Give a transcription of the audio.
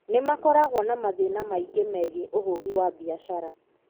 Nĩ makoragwo na mathĩna maingĩ megiĩ ũhũri wa biacara.